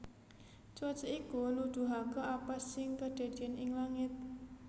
Cuaca iku nuduhaké apa sing kedadéyan ing langit